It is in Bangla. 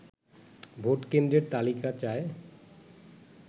ভোটকেন্দ্রের তালিকা চায়